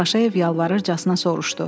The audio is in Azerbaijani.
Paşayev yalvarırcasına soruşdu.